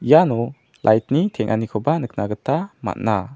iano lait ni teng·anikoba nikna gita man·a.